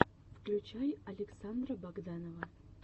включай александра богданова